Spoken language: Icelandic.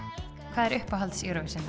hvað er uppáhalds Eurovision